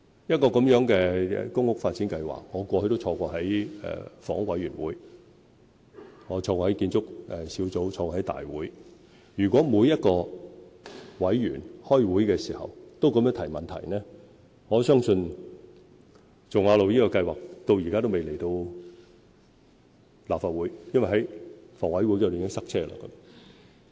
一項像大埔頌雅路的公屋發展計劃，我過去都有參與房委會、建築小組委員會及大會，如果每位委員開會時都這樣提問，我相信那項計劃至今都未能提交立法會，因為在房委會時已經"塞車"。